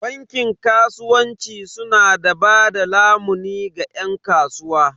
Bankin kasuwanci su na bada lamuni ga yan kasuwa.